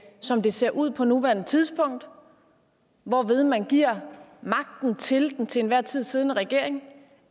som det ser ud på nuværende tidspunkt hvorved man giver magten til den til enhver tid siddende regering